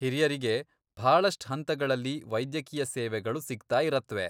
ಹಿರಿಯರಿಗೆ ಭಾಳಷ್ಟ್ ಹಂತಗಳಲ್ಲಿ ವೈದ್ಯಕೀಯ ಸೇವೆಗಳು ಸಿಗ್ತಾ ಇರತ್ವೆ.